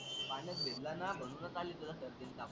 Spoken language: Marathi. पाण्यात भिजला ना म्हणूनच आली तुला सर्दी आणि ताप.